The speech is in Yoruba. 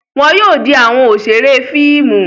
Wọn yóò di awọn oṣere fíìmù